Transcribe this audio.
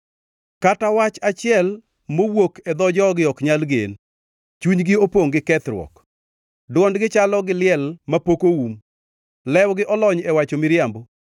Kata wach achiel mowuok e dho jogi ok nyal gen; chunygi opongʼ gi kethruok. Dwondgi chalo gi liel mapok oum; lewgi olony e wacho miriambo.